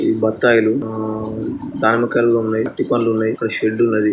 ఇవి బత్తాయిలు ఆ దానిమ్మకాయలు కూడా ఉన్నాయి అరటి పండ్లు ఉన్నాయి ఇక్కడ షెడ్ ఉన్నది.